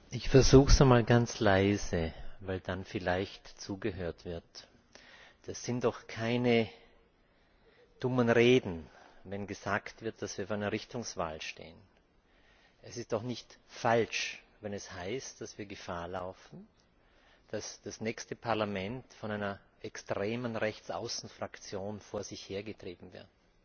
Herr Präsident! Ich versuche es einmal ganz leise, weil dann vielleicht zugehört wird. Das sind doch keine dummen Reden, wenn gesagt wird, dass wir vor einer Richtungswahl stehen. Es ist doch nicht falsch, wenn es heißt, dass wir Gefahr laufen, dass das nächste Parlament von einer extremen Rechtsaußen Fraktion vor sich hergetrieben wird.